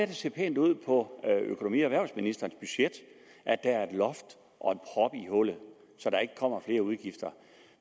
det ser pænt ud på økonomi og erhvervsministerens budget at der er et loft og en prop i hullet så der ikke kommer flere udgifter